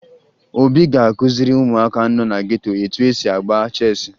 Obi ga-akụziri ụmụaka nọ na geto etu e si agba cheesị